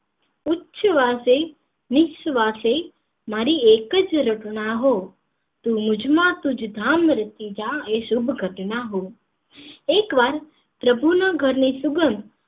ઉચ્છવાસે નિઃશ્વાસે મારી એક જ રટના હો તું મુજ માં તુજ ધામ રચી જા એ શુભ ઘટના હો એક વાર પ્રભુના ઘર ની સુંગધ